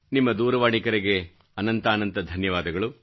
ನಿಮ್ಮ ದೂರವಾಣಿ ಕರೆಗೆ ಅನಂತಾನಂತ ಧನ್ಯವಾದಗಳು